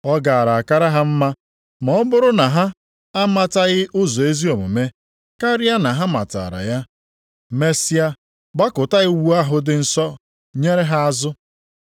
Ọ gaara akara ha mma ma ọ bụrụ na ha amataghị ụzọ ezi omume, karịa na ha matara ya, mesịa gbakụta iwu ahụ dị nsọ nyere ha azụ.